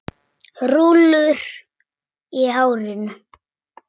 Rúllur í hárinu.